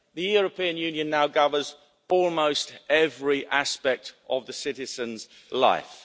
to. The European Union now governs almost every aspect of the citizen's life.